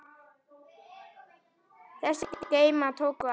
Þessir geymar tóku alls